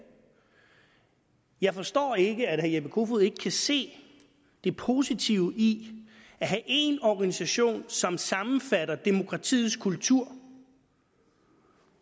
jeg forstår ikke at herre jeppe kofod ikke kan se det positive i at have én organisation som sammenfatter demokratiets kultur